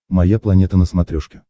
моя планета на смотрешке